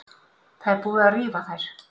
Það er búið að rífa þær.